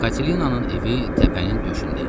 Katelinanın evi təpənin döşündə idi.